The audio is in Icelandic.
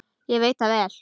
Ég veit það vel!